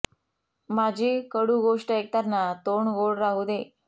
माझी कडू गोष्ट ऐकतांना तोंड गोड राहू दे